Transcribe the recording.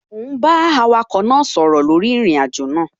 Mò ún bá awakọ̀ náà sọ̀rọ̀ lórí ìrìnàjò náà